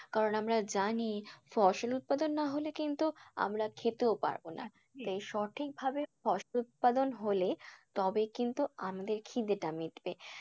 কারণ আমরা জানি ফসল উৎপাদন না হলে কিন্তু আমরা খেতেও তাই সঠিক ভাবে ফসল উৎপাদন হলে তবেই কিন্তু আমাদের খিদেটা মিটবে।